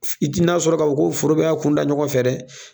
F i ti n'a sɔrɔ k'a fɔ ko foro bɛɛ y'a kunda ɲɔgɔn fɛ dɛ